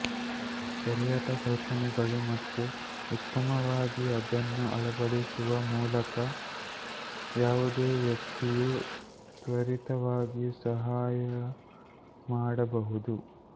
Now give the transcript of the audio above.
ಸರಿಯಾದ ಕಲ್ಪನೆಗಳು ಮತ್ತು ಉತ್ತಮವಾಗಿ ಅದನ್ನು ಅಳವಡಿಸುವ ಮೂಲಕ ಯಾವುದೇ ವ್ಯಕ್ತಿಯೂ ತ್ವರಿತವಾಗಿ ಸಹಾಯ ಮಾಡಬಹುದು